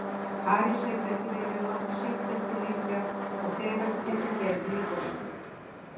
París hefur ekki viljað láta sitt eftir liggja og þegar tekið Gerði í fóstur.